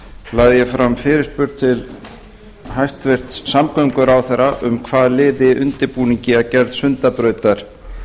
lagði ég fram fyrirspurn til hæstvirts samgönguráðherra um hvað liði undirbúningi að gerð sundabrautar